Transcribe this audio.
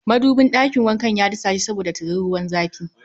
Madubin ɗakin wanka ya disashe saboda tiririn ruwan zafi